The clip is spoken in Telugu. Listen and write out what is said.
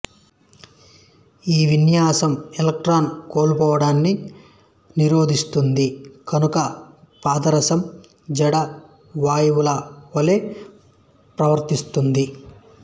ఈ విన్యాసం ఎలక్ట్రాన్ కోల్పోవడాన్ని నిరోధిస్తుంది కనుక పాదరసం జడ వాయువుల వలె ప్రవర్తిస్తుంది